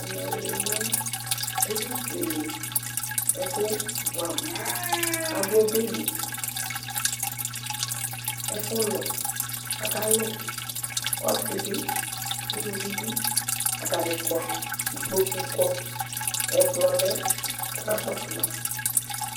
Ɛmɛ lɛ ɛfʋkele ɛkʋ bʋɛamʋ kʋ adʋ ɔbɛ li Ɛfʋlʋ kʋ akalʋ, ɔsɩ bɩ, uluvi bɩ, atanɩ kɔ Ikpoku kɔ Ɛkplɔ lɛ kʋ akakɔsʋ ma